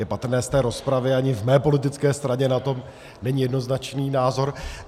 Je patrné z té rozpravy, ani v mé politické straně na to není jednoznačný názor.